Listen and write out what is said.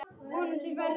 Það er aldrei nógu gott.